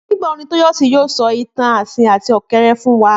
Nígbà wo Tóyọ̀sí yóò sọ ìtàn asín àti ọ̀kẹ́rẹ́ fún wa?